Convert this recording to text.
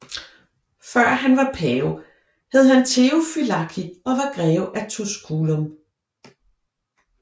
Før han var pave hed han Theofylakt og var Greve af Tusculum